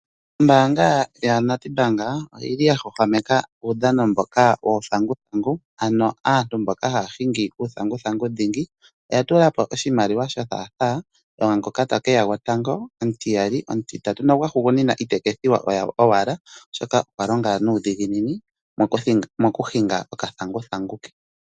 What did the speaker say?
Ombaannga yo NEDBANK oyili ya Hungarian uudhano mboka wuuthanguthangu ano aantu mboka haahingi uuthanguthangu oya tula po oshimaliwa sho thaatha kwaangoka taka kakala gwotango, omutiyali, omutitatu nogwahugunian itaka ethiwa owala oshoka okwalinga nuudhiginini mokuhinnga okathanguthangu.